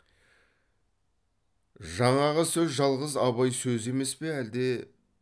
жаңағы сөз жалғыз абай сөзі емес пе әлде